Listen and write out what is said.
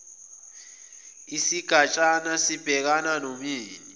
isigatshana sibhekana nomyeni